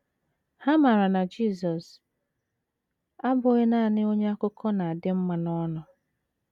Ha maara na Jisọs abụghị nanị onye akụkọ na - adị mma n’ọnụ.